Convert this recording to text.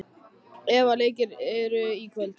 Eva, hvaða leikir eru í kvöld?